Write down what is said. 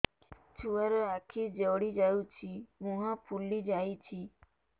ଛୁଆର ଆଖି ଜଡ଼ି ଯାଉଛି ମୁହଁ ଫୁଲି ଯାଇଛି